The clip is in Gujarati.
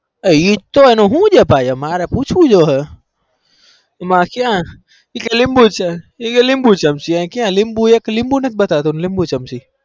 હ એટ તો શું છે લીબું ચમચી એ કે લીબું ચમચી માર પુસવું છે